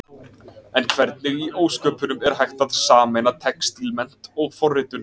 En hvernig í ósköpunum, er hægt að sameina textílmennt og forritun?